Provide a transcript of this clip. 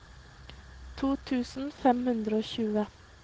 to tusen fem hundre og tjue